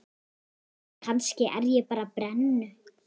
Kannski er ég bara brennu